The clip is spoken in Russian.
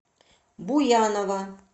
буянова